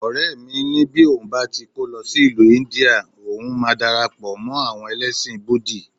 Ọ̀rẹ́ mi ni bí òun bá ti kó lọ sí ìlú India, ohun máa darapọ̀ mọ́ àwọn ẹlẹ́sìn búdì